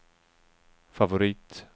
favorit